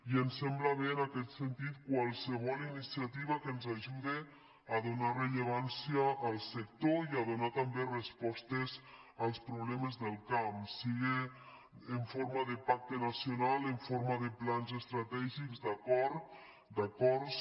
i ens sembla bé en aquest sentit qualsevol iniciativa que ens ajude a donar rellevància al sector i a donar també respostes als problemes del camp siga en forma de pacte nacional en forma de plans estratègics d’acords